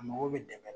A mago bɛ dɛmɛ